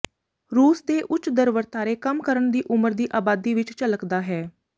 ਰੂਸ ਦੇ ਉੱਚ ਦਰ ਵਰਤਾਰੇ ਕੰਮ ਕਰਨ ਦੀ ਉਮਰ ਦੀ ਆਬਾਦੀ ਵਿੱਚ ਝਲਕਦਾ ਹੈ